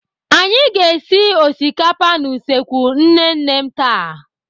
Anyị ga-esi osikapa n'usekwu nne nne m taa.